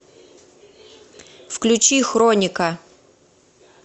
включи хроника